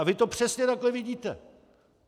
A vy to přesně takhle vidíte.